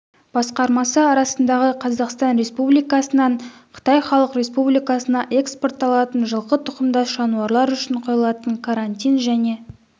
басқармасы арасындағы қазақстан республикасынан қытай халық республикасына экспортталатын жылқы тұқымдас жануарлар үшін қойылатын карантин және